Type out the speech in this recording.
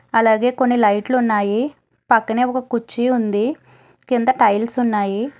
అలాగే కొన్ని లైట్లు ఉన్నాయి పక్కనే ఒక కుర్చీ ఉంది కింద టైల్స్ ఉన్నాయి.